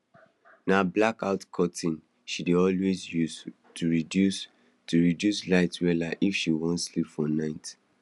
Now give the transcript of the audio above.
na blackout curtains she dey always use to reduce to reduce light wahala if she wan sleep for night